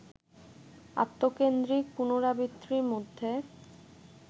আত্মকেন্দ্রিক পুনরাবৃত্তির মধ্যে